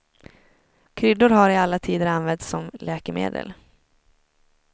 Kryddor har i alla tider använts som läkemedel.